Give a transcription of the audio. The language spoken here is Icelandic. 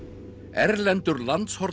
erlendur